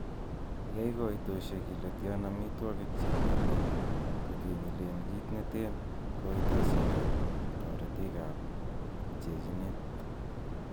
Yai koitosiek ile tian amitwogik che kiome ko kenyilen kit neten koitosiek ab toritik ak pchechinet.